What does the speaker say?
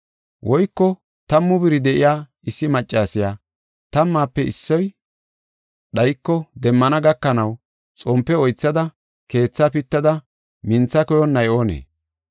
“Woyko tammu biri de7iya issi maccasiya tammaafe iissiya dhayiko demmana gakanaw xompe oythada keetha pittada mintha koyonnay oonee?